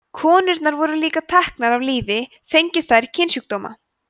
konurnar voru líka teknar af lífi fengju þær kynsjúkdóma